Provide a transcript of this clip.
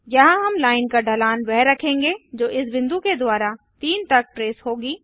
यहाँ हम लाइन का ढलान वह रखेंगे जो इस बिंदु के द्वारा 3 तक ट्रेस होगी